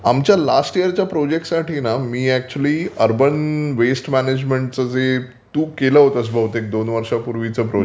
आमच्या लास्ट ईयरच्या प्रोजेक्टसाठी मी खरंतर अर्बन वेस्ट मॅनेजमेंटचं जे तू केलं होतंस बहुतेक दोन वर्षांपूर्वीचं प्रोजेक्ट